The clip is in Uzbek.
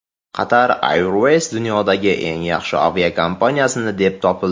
Qatar Airways dunyoning eng yaxshi aviakompaniyasi deb topildi.